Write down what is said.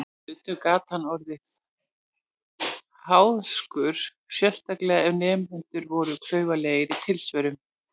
Stundum gat hann orðið háðskur, sérstaklega ef nemendur voru klaufalegir í tilsvörum.